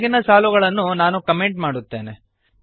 ಕೆಳಗಿನ ಸಾಲುಗಳನ್ನು ನಾನು ಕಮೆಂಟ್ ಮಾಡುತ್ತೇನೆ